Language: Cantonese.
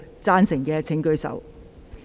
贊成的請舉手。